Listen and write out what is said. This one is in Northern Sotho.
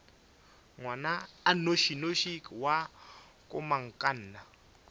ngwana a nnošinoši wa komangkanna